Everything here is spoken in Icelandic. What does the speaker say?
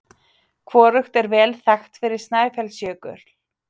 Hvorugt er vel þekkt fyrir Snæfellsjökul.